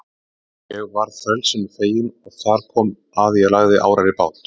Ég varð frelsinu fegin og þar kom að ég lagði árar í bát.